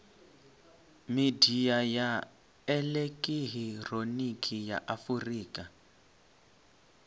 midia ya elekihironiki ya afurika